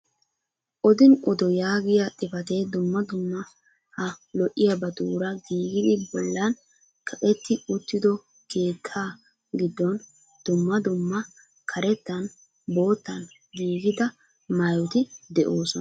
Odin odo yaagiya xipatee dumma dumma ha lo'iyabatuura giigidi bollan kaqetti uttido keetta giddon dumma dumma karettan boottan giigida maayoti doosona.